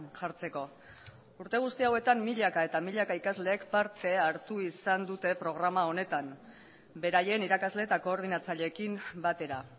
jartzeko urte guzti hauetan milaka eta milaka ikaslek parte hartu izan dute programa honetan beraien irakasle eta koordinatzaileekin batera